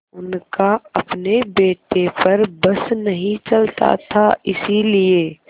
उनका अपने बेटे पर बस नहीं चलता था इसीलिए